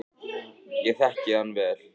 Ég þekki hann vel.